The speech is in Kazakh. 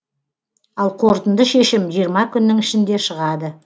ал қорытынды шешім жиырма күннің ішінде шығады